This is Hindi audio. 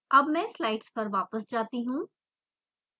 अब मैं स्लाइड्स पर वापस जाती हूँ